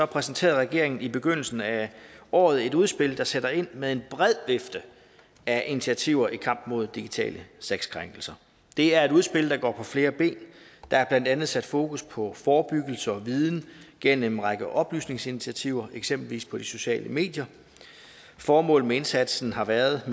præsenterede regeringen i begyndelsen af året et udspil der sætter ind med en bred vifte af initiativer i kampen mod digitale sexkrænkelser det er et udspil der går på flere ben der er blandt andet sat fokus på forebyggelse og viden gennem en række oplysningsinitiativer eksempelvis på de sociale medier formålet med indsatsen har været at